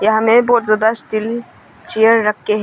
हमें बहुत ज्यादा स्टील चेयर रखे हैं।